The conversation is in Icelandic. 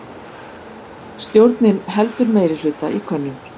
Stjórnin heldur meirihluta í könnun